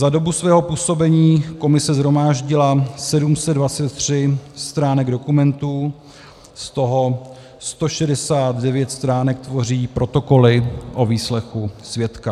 Za dobu svého působení komise shromáždila 723 stránek dokumentů, z toho 169 stránek tvoří protokoly o výslechu svědka.